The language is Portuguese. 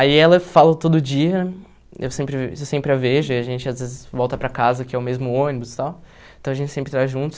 Aí ela eu falo todo dia, eu sempre sempre a vejo, a gente às vezes volta para casa, que é o mesmo ônibus e tal, então a gente sempre está junto.